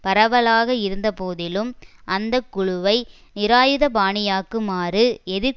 பரவலாக இருந்த போதிலும் அந்த குழுவை நிராயுதபாணியாக்குமாறு எதிர்